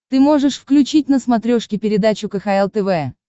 ты можешь включить на смотрешке передачу кхл тв